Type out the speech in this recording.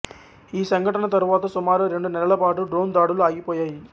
ఈ సంఘటన తరువాత సుమారు రెండు నెలల పాటు డ్రోన్ దాడులు ఆగిపోయాయి